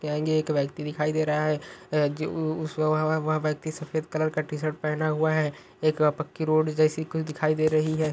एक व्यक्ति दिखाई दे रहा है वह व्यक्ति सफेद कलर का टी-शर्ट पहने हुआ है एक पक्की रोड जैसी कुछ दिखाई दे रही है।